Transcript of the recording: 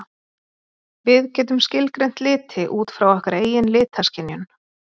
Við getum skilgreint liti út frá okkar eigin litaskynjun.